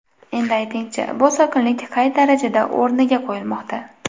Endi ayting-chi, bu sokinlik qay darajada o‘rniga qo‘yilmoqda?